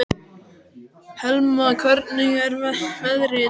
Helma, hvernig er veðrið í dag?